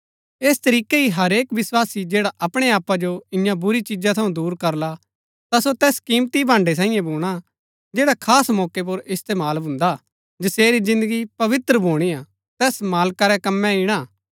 ऐस तरीकै ही हरेक विस्वासी जैड़ा अपणै आपा जो इन्या बुरी चिजा थऊँ दूर करला ता सो तैस किमती भाण्ड़ै सांईये भूणा जैड़ा खास मौके पुर इस्तेमाल भून्दा हा जसेरी जिन्दगी पवित्र भुणीआ तैस मालका रै कमै ईणा